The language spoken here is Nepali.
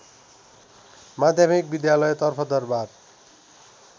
माध्यमिक विद्यालयतर्फ दरबार